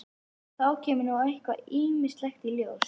Og þá kemur nú eitthvað ýmislegt í ljós?